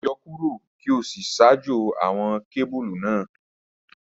Yọ kuro ki o si ṣajọ awọn kebulu naa